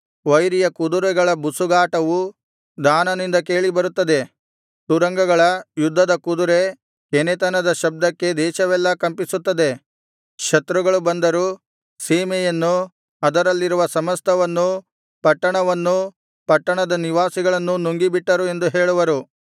ವೈರಿಯ ಕುದುರೆಗಳ ಬುಸುಗಾಟವು ದಾನನಿಂದ ಕೇಳಿಬರುತ್ತದೆ ತುರಂಗಗಳ ಯುದ್ಧದ ಕುದುರೆ ಕೆನೆತದ ಶಬ್ದಕ್ಕೆ ದೇಶವೆಲ್ಲಾ ಕಂಪಿಸುತ್ತದೆ ಶತ್ರುಗಳು ಬಂದರು ಸೀಮೆಯನ್ನೂ ಅದರಲ್ಲಿರುವ ಸಮಸ್ತವನ್ನೂ ಪಟ್ಟಣವನ್ನೂ ಪಟ್ಟಣದ ನಿವಾಸಿಗಳನ್ನೂ ನುಂಗಿಬಿಟ್ಟರು ಎಂದು ಹೇಳುವರು